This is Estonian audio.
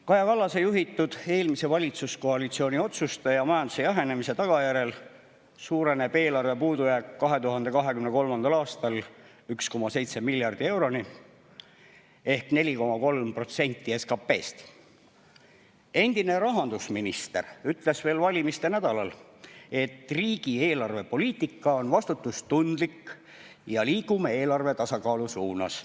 Kaja Kallase juhitud eelmise valitsuskoalitsiooni otsuste ja majanduse jahenemise tagajärjel suureneb eelarve puudujääk 2023. aastal 1,7 miljardi euroni ehk 4,3%‑ni SKP‑st. Endine rahandusminister ütles veel valimiste nädalal, et riigi eelarvepoliitika on vastutustundlik ja liigume eelarve tasakaalu suunas.